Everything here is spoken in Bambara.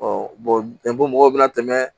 mɔgɔw bɛna tɛmɛ